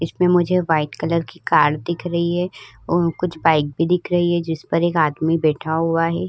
इसमे मुझे white colour की कार दिख रही है और कुछ बाइक भी दिख रही है। जिस पर एक आदमी बैठा हुआ है।